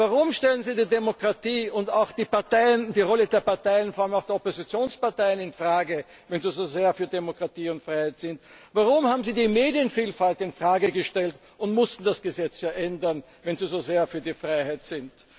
Warum stellen Sie die Demokratie und auch die Rolle der Parteien, vor allem auch der Oppositionsparteien, in Frage, wenn Sie so sehr für Demokratie und Freiheit sind? Warum haben Sie die Medienvielfalt in Frage gestellt und mussten das Gesetz ändern, wenn Sie so sehr für die Freiheit sind?